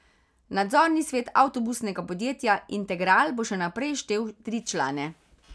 Nadzorni svet avtobusnega podjetja Integral bo še naprej štel tri člane.